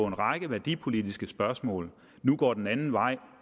en række værdipolitiske spørgsmål nu går en anden vej